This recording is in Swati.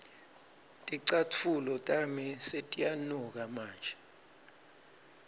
ticatfulo tami setiyanuka manje